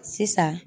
Sisan